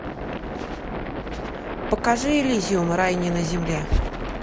покажи элизиум рай не на земле